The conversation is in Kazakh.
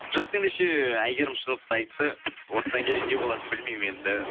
жақсы ендеше әйгерім шындықты айтты осыдан кейін не болатынын білмеймін енді